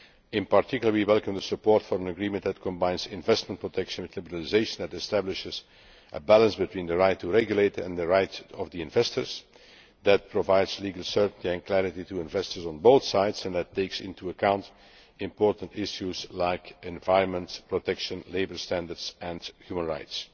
In particular, we welcome the support for an agreement that combines investment protection with liberalisation, that establishes a balance between the right to regulate and the right of the investors, that provides legal certainty and clarity to investors on both sides, and that takes into account important issues like environmental protection, labour standards and human rights.